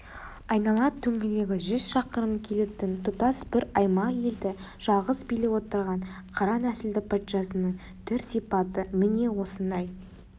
айнала төңірегі жүз шақырым келетін тұтас бір аймақ елді жалғыз билеп отырған қара нәсілді патшасының түр-сипаты міне осындай